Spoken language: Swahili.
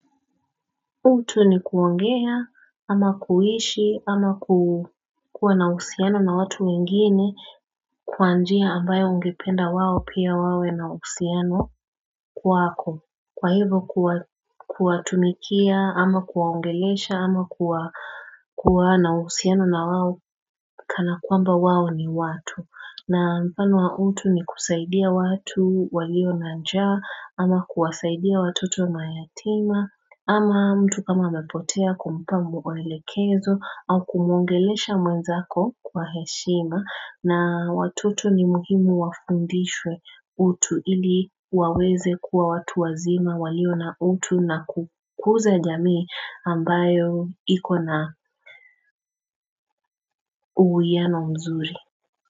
Utu ni kuongea ama kuhishi ama kuwa nausiano na watu wengine kwaanjia ambayo ongependa wao pia wawe nausiano kuwako Kwa hivo kuwatumikia ama kuwaongeleisha ama kuwa kuwa nausiano na wao kana kwamba wao ni watu na mfano wa utu ni kusaidia watu walio naanjawa ama kuwasaidia watoto mayatima ama mtu kama mepotea kumpambu waelekezo au kumungelesha mwenzako kwa heshima na watutu ni mhimu wafundishwe utu ili waweze kuwa watu wazima walio na utu na kukuza jamii ambayo ikona uhuiano mzuri.